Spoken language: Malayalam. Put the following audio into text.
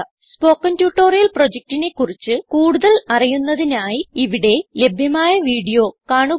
സ്പോകെൻ ട്യൂട്ടോറിയൽ പ്രൊജക്റ്റിനെ കുറിച്ച് കൂടുതൽ അറിയുന്നതിനായി ഇവിടെ ലഭ്യമായ വീഡിയോ കാണുക